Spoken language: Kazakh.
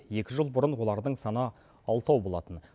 екі жыл бұрын олардың саны алтау болатын